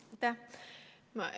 Aitäh!